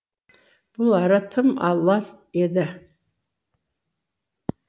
бұл ара тым лас еді